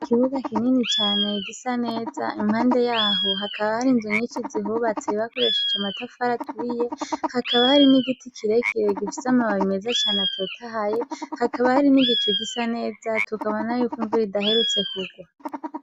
Ikibuga kinini cane gisa neza impande yaho hakaba har'inzu nyishi zihubatse bakoresheje amatafari aturiye, hakaba hari n'igiti kirekire gifise amababi meza cane atotahaye hakaba, hari n'igicu gisa neza tukabona yuko imvura idaherutse kugwa.